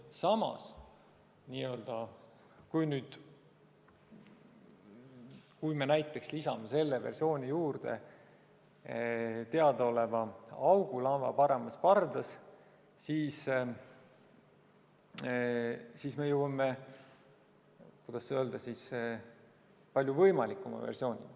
Samas, kui me näiteks lisame sellesse versiooni teadaoleva augu laeva paremas pardas, siis me jõuame palju võimalikuma versioonini.